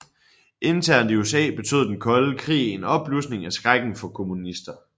Internt i USA betød den kolde krig en opblusning af skrækken for kommunister